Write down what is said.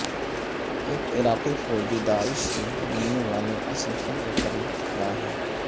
ایک عراقی فوجی داعش سے ملنے والے اسلحے کے قریب کھڑا ہے